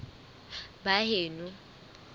baheno